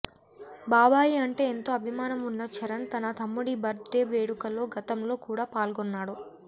బాబాయి అంటే ఎంతో అభిమానం ఉన్న చరణ్ తన తమ్ముడి బర్త్డే వేడుకలో గతంలో కూడా పాల్గొన్నాడు